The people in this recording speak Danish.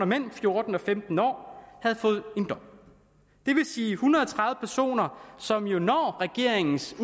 mellem fjorten og femten år havde fået en dom det vil sige en hundrede og tredive personer som jo når regeringens